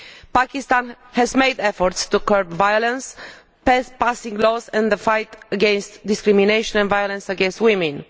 Pakistan has made efforts to curb violence, passing laws in the fight against discrimination and violence against women.